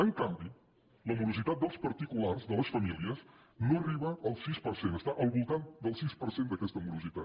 en canvi la morositat dels particulars de les famílies no arriba al sis per cent està al voltant del sis per cent d’aquesta morositat